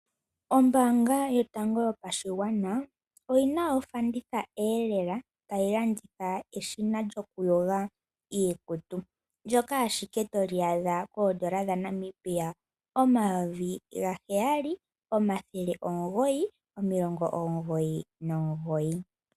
Ombaanga yotango yopashigwana oyina ofanditha eelela tayi landitha ehina lyokuyoga iikutu ndjoka ashike toli adha koodola dha Nambia omayovi gaheyali nomathele omungoyi nomilongo omungoyi nomungoyi.